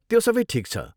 त्यो सबै ठिक छ।